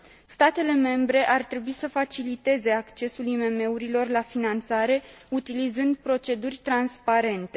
Statele membre ar trebui să faciliteze accesul IMM urilor la finanțare, utilizând proceduri transparente.